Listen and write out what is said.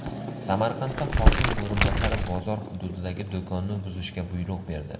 Samarqandda hokim o‘rinbosari bozor hududidagi do‘konni buzishga buyruq berdi.